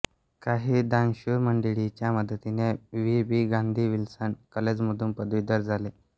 काही दानशूर मंडळींच्या मदतीने व्ही बी गांधी विल्सन कॉलेजमधून पदवीधर झाले